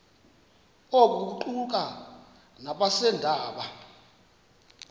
oku kuquka nabeendaba